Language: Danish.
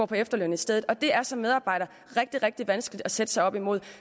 på efterløn i stedet og det er som medarbejder rigtig rigtig vanskeligt at sætte sig op imod